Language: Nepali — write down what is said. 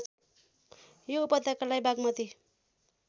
यो उपत्यकालाई बाग्मती